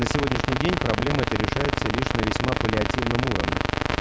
на сегодняшний день проблема эта решается лишь на весьма паллиативном уровне